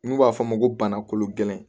N'u b'a f'a ma ko bana kolon gɛlɛn